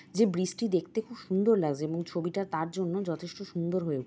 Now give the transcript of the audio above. যে বৃষ্টি দেখতে খুব সুন্দর লাগছে এবং ছবিটা তার জন্য যথেষ্ট সুন্দর হয়ে উঠ--